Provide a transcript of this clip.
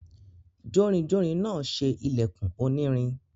Jórinjórin náà se ìlẹ̀kùn onírin.